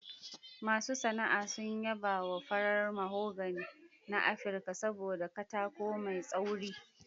Masu sana'a sun yaba wa farar mahogany na Afirka saboda katako mai tsauri.